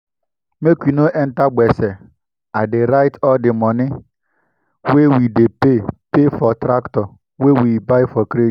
make we no enter gbese i dey write all di moni wey we dey pay for tractor wey we buy for credit.